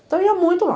Então, eu ia muito lá.